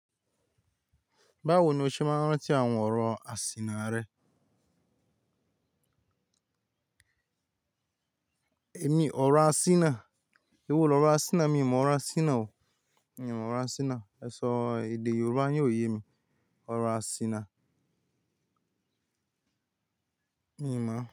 Báwo ni o ṣe máa ń rántí àwọn ọ̀rọ̀ àsìnà rẹ èmi ọ̀rọ̀ àsìnà? Ewó lọ́ ọ̀rọ̀ àsìnà, mi ò mọ̀ ọ̀rọ̀ àsìnà o. Mi ò mọ̀ ọ̀rọ̀ àsìnà. Ẹ sọ èdè Yorùbá yin ò yé mi. Ọ̀rọ̀ àsìnà. Mi ò mọ̀